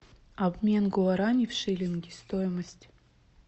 обмен гуарани в шиллинги стоимость